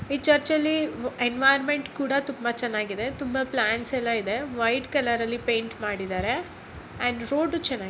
ಈ ಚರ್ಚ್ ಅಲ್ಲಿ ಎನ್ವಿರಾನ್ಮೆಂಟ್ ಕೂಡ ತುಂಬಾ ಚನ್ನಾಗಿದೆ ತುಂಬಾ ಪ್ಲಾಂಟ್ಸ್ ಎಲ್ಲ ಇದೆ ವೈಟ್ ಕಲರ್ ಅಲ್ಲಿ ಪೇಯಿಂಟ್ ಮಾಡಿದರೆ ಅಂಡ್ ರೋಡು ಚನ್ನಾಗಿದೆ.